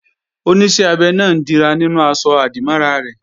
Oníṣẹ́ abẹ náà ń dira nínú aṣọ-àdìmọ́ra rẹ̀